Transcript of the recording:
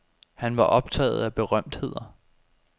Han var optaget af berømtheder.